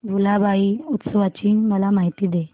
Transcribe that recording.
भुलाबाई उत्सवाची मला माहिती दे